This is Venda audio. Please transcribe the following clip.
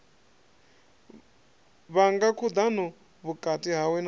vhanga khudano vhukati hawe na